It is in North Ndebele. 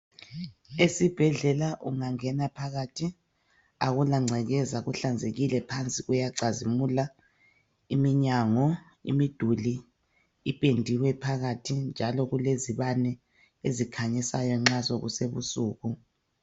Esibhedlela ungangena phakathi akula ngcekeza kuhlanzekile phansi kuyacazimula iminyango, imiduli iphendiwe phakathi njalo kulezibane ezikhanyisayo nxa sokusebusuku.